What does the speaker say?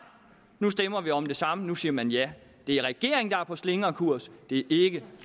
nu stemmer vi om det samme nu siger man ja det er regeringen der er på slingrekurs det er ikke